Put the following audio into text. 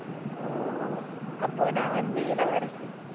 ஓ அப்போ நான் வந்து இளவரசி